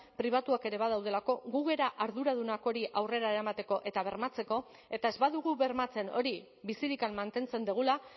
pribatuak ere badaudelako gu gara arduradunak hori aurrera eramateko eta bermatzeko eta ez badugu bermatzen hori bizirik mantentzen dugula